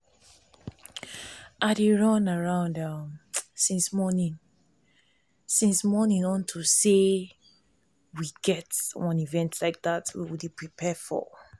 i dey run um around since morning since morning unto say we get event we dey prepare for